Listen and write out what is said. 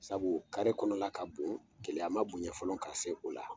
Sabu o kare kɔnɔna la ka bon keleya ma bonɲa fɔlɔ ka se o la